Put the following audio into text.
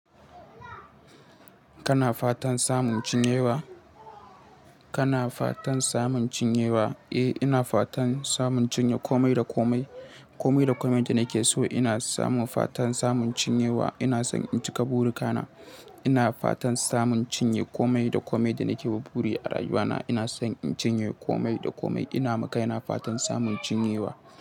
Kana fatan samun cinyewa? Kana fatan samun cinyewa? Eh, ina fatan samun cinye komai da komai. Komai da komai da nake so ina samun fatan samun cinyewa. Ina son in cika burika na. Ina fatan samun cinye komai da komai da nake wa buri a rayuwa na. Ina son in cinye komai da komai. Ina ma kaina fatan samun cinyewa.